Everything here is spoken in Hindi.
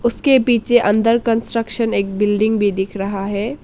उसके पीछे अंडर कंस्ट्रक्शन एक बिल्डिंग भी दिख रहा है।